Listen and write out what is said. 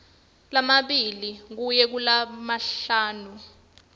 lamabili kuya kulasihlanu